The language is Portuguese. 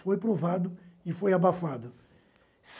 Foi provado e foi abafado.